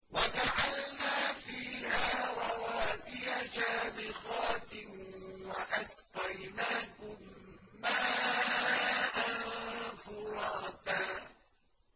وَجَعَلْنَا فِيهَا رَوَاسِيَ شَامِخَاتٍ وَأَسْقَيْنَاكُم مَّاءً فُرَاتًا